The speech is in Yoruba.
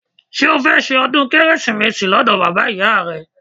Ṣé o fẹ́ ṣe ọdún Kérésìmesì lọ́dọ̀ bàbá ìyá rẹ?